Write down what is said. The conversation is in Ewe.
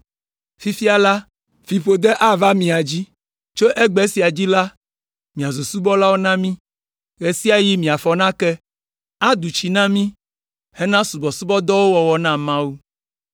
Fifia la, fiƒode ava mia dzi; tso egbe sia dzi la, miazu subɔlawo na mí. Ɣe sia ɣi miafɔ nake, adu tsi na mí hena subɔsubɔdɔwo wɔwɔ na Mawu.”